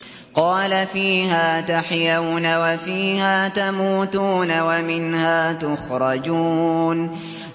قَالَ فِيهَا تَحْيَوْنَ وَفِيهَا تَمُوتُونَ وَمِنْهَا تُخْرَجُونَ